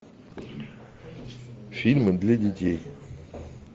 фильмы для детей